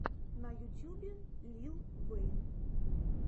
на ютьюбе лил вэйн